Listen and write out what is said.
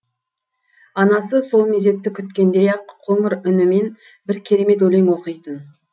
анасы сол мезетті күткендей ақ қоңыр үнімен бір керемет өлең оқитын